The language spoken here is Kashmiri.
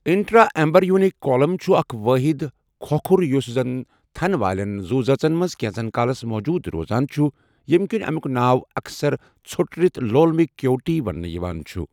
انٹرا ایمبریونِک کولَم چھُ اکھ وٲحِد کھوکُھر یُس زَن تھن والین زُو زٲژن منز كینژس كالس موٗجوٗد روزان چُھ ، ییمہِ كِنہِ اَمیُک ناو اَکثر ژھوٚٹرِتھ لولمِک کیویٹی وننہٕ یوان چُھ ۔